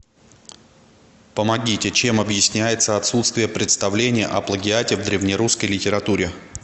помогите чем объясняется отсутствие представления о плагиате в древнерусской литературе